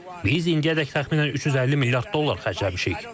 Biz indiyədək təxminən 350 milyard dollar xərcləmişik.